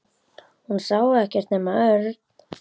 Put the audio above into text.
Hún sá ekkert nema Örn.